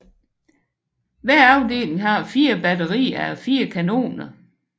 Hver afdeling har 4 batterier a 4 kanoner